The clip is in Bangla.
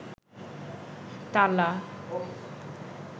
তালা